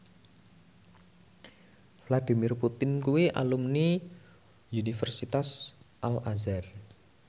Vladimir Putin kuwi alumni Universitas Al Azhar